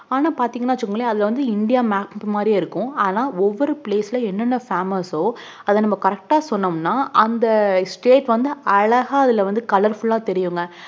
ஆனா பாத்தீங்கனா வச்சுக்கோங்களே இந்திய map மாறி இருக்கும் ஆனா ஒவ்வொர place ஓஎன்னென் famous ஓ அத நாம correct ஆஹ் சொன்னோம்ன அந்த state மட்டும் அழகா கலர் ஆஹ் தெரியுங்க